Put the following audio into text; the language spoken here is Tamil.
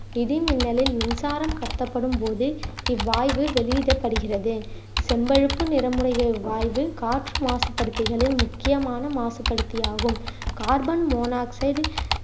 இடி மின்னலில் மின்சாரம் கடத்தப்படும் போது இவ்வாய்வு வெளியிடப்படுகிறது செம்பழுப்பு நிறமுடையை இவ்வாய்வு காற்று மாசுபடுத்திகளில் முக்கியமான மாசுபடுத்தி ஆகும் கார்பன் மோனோசைட்